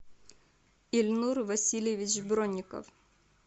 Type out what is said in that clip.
ильнур васильевич бронников